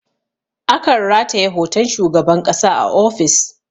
A kan rataye hoton shugaban ƙasa a ofis